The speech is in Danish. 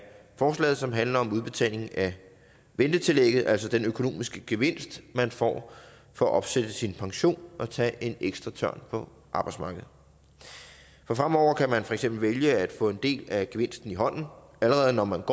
forslaget som handler om udbetaling af ventetillægget altså den økonomiske gevinst man får for at opsætte sin pension og tage en ekstra tørn på arbejdsmarkedet fremover kan man for eksempel vælge at få en del af gevinsten i hånden allerede når man